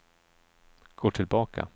gå tillbaka